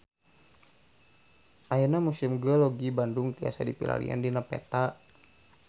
Ayeuna Museum Geologi Bandung tiasa dipilarian dina peta